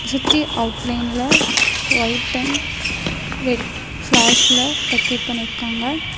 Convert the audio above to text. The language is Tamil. சுத்தி அவுட்லைன்ல ஒயட் அண்ட் ரெட் பிளார்ஸ்ல டெகரேட் பண்ணிருக்காங்க.